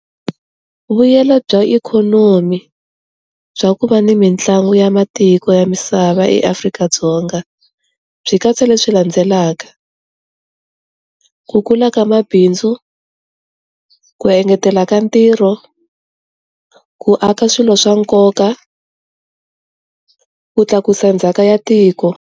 Vuyelo bya ikhonomi bya ku va ni mitlangu ya matiko ya misava eAfrika-Dzonga swi katsa leswi landzelaka, ku kula ka mabindzu, ku engetela ka ntirho, ku aka swilo swa nkoka, ku tlakusa ndzhaka ya tiko.